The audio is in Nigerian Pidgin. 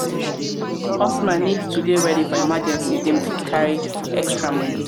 customer need to dey ready for emergency dem fit carry extra money